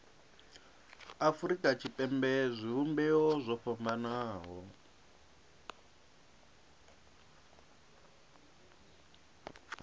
afurika tshipembe zwivhumbeo zwo fhambanaho